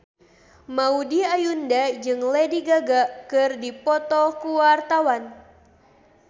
Maudy Ayunda jeung Lady Gaga keur dipoto ku wartawan